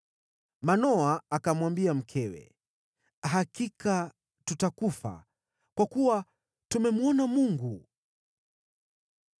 Manoa akamwambia mkewe, “Hakika tutakufa, kwa kuwa tumemwona Mungu.”